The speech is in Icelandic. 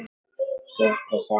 Gutti sagði mér það, já.